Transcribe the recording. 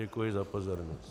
Děkuji za pozornost.